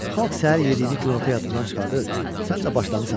"Xalq səhər yediyini günorta yadından çıxardır, sən də başlamısan.